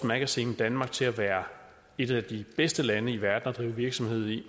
magazine danmark til at være et af de bedste lande i verden at drive virksomhed i